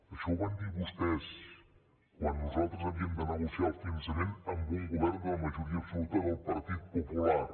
això ho van dir vostès quan nosaltres havíem de negociar el finançament amb un govern de la majoria absoluta del partit popular